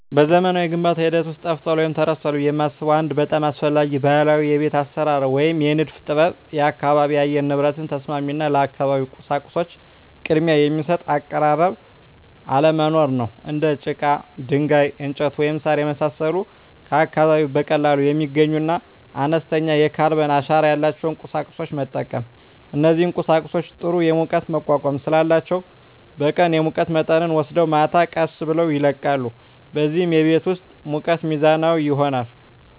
በዘመናዊው የግንባታ ሂደት ውስጥ ጠፍቷል ወይም ተረስቷል ብዬ የማስበው አንድ በጣም አስፈላጊ ባህላዊ የቤት አሰራር ወይም የንድፍ ጥበብ የአካባቢ የአየር ንብረት ተስማሚ እና ለአካባቢው ቁሳቁሶች ቅድሚያ የሚሰጥ አቀራረብ አለመኖር ነው። እንደ ጭቃ፣ ድንጋይ፣ እንጨት፣ ወይም ሣር የመሳሰሉ ከአካባቢው በቀላሉ የሚገኙና አነስተኛ የካርበን አሻራ ያላቸውን ቁሳቁሶች መጠቀም። እነዚህ ቁሳቁሶች ጥሩ የሙቀት መቋቋም ስላላቸው በቀን የሙቀት መጠንን ወስደው ማታ ቀስ ብለው ይለቃሉ፣ በዚህም የቤት ውስጥ ሙቀት ሚዛናዊ ይሆናል።